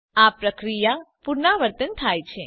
આ પ્રક્રિયા પુનરાવર્તન થાય છે